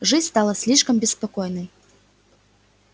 жизнь стала слишком беспокойной